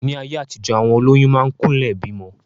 Ní ayé àtijọ, àwọn olóyún máa ń kúnlẹ̀ bímọ.